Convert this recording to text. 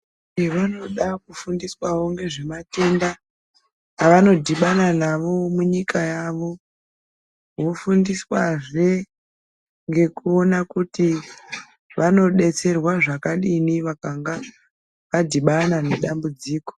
Eya vanodawo kufundiswa ngezvematenda avanodhibana nawo munyika yawo vofundiswa zve ngekuona kuti vangadetserwa zvakadini vakanga vadhibana nedambudziko.